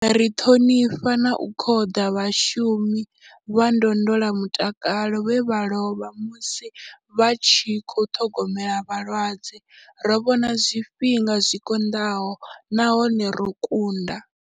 Ri ṱhonifha na u khoḓa vhashumi vha ndondolamutakalo vhe vha lovha musi vha tshi khou ṱhogomela vhalwadze. Ro vhona zwifhinga zwi konḓaho nahone ro kunda.